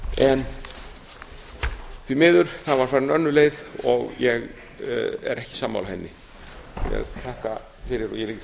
en því miður var farin önnur leið og ég er ekki sammála henni ég